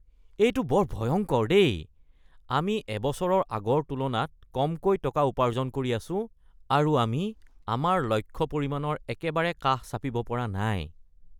এইটো বৰ ভয়ংকৰ দেই! আমি এবছৰৰ আগৰ তুলনাত কমকৈ টকা উপাৰ্জন কৰি আছো আৰু আমি আমাৰ লক্ষ্য পৰিমাণৰ একেবাৰে কাষ চাপিব পৰা নাই।